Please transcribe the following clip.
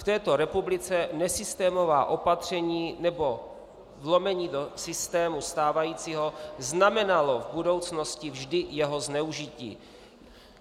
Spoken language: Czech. V této republice nesystémová opatření nebo vlomení do systému stávajícího znamenalo v budoucnosti vždy jeho zneužití.